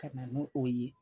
Ka na n'o o ye.